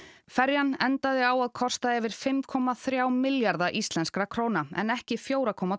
ferjan endaði á að kosta yfir fimm komma þrjá milljarða íslenskra króna en ekki fjögur komma